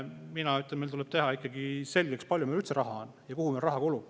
Mina ütlen, et meil tuleb teha ikkagi selgeks, kui palju meil üldse raha on ja kuhu raha kulub.